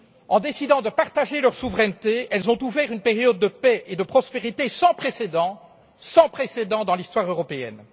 En décidant de partager leur souveraineté, elles ont ouvert une période de paix et de prospérité sans précédent dans l'histoire européenne.